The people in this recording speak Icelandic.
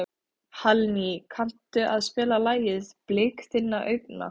Hallný, kanntu að spila lagið „Blik þinna augna“?